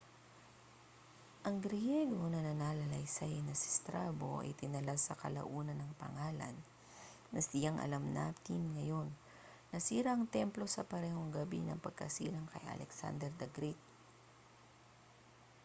ang griyego na mananalaysay na si strabo ay itinala sa kalaunan ang pangalan na siyang alam natin ngayon nasira ang templo sa parehong gabi ng pagkasilang kay alexander the great